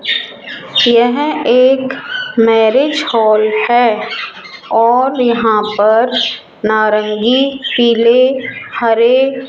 यह एक marriage hall है और यहां पर नारंगी पीले हरे --